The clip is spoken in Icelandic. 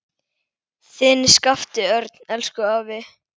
Þinn Skapti Örn. Elsku afi.